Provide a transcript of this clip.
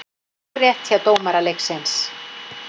Hárrétt hjá dómara leiksins.